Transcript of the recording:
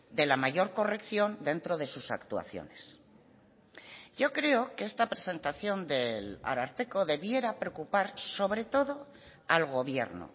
de la mayor corrección dentro de sus actuaciones yo creo que esta presentación del ararteko debiera preocupar sobre todo al gobierno